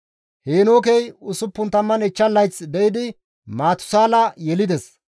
Heenookey 65 layth de7idi Maatusaala yelides;